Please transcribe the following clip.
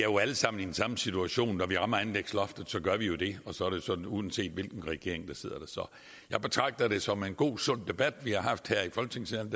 jo alle sammen i samme situation når vi rammer anlægsloftet så gør vi jo det og så er det sådan set uanset hvilken regering der sidder der så jeg betragter det som en god sund debat vi har haft her i folketingssalen